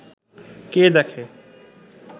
কে দেখে